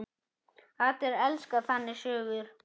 Allir elska þannig sögur.